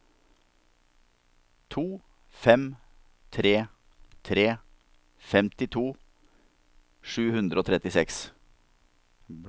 to fem tre tre femtito sju hundre og trettiseks